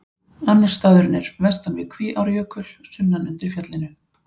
Annar staðurinn er vestan við Kvíárjökul, sunnan undir fjallinu.